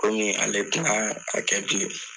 Komi ale ta a kɛ bilen.